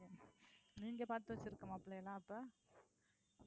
நீங்க பாத்து வச்சிருக்க மாப்பிள்ளையெல்லாம் அப்போ?